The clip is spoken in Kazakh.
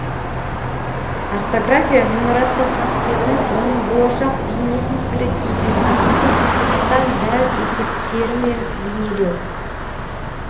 ортография ғимараттың қасбетін оның болашақ бейнесін суреттейтін нақты қатаң дәл есептерімен бейнелеу